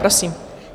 Prosím.